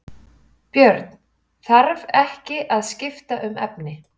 Björn: Þarf ekki að skipta um efni?